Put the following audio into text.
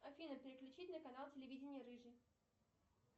афина переключить на канал телевидения рыжий